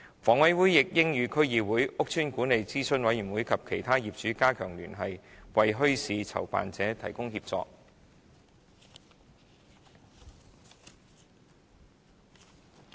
房委會亦應與區議會、屋邨管理諮詢委員會及其他業主加強聯繫，為墟市籌辦者提供協助。